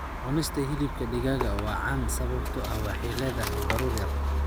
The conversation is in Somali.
Cunista hilibka digaaga waa caan sababtoo ah waxay leedahay baruur yar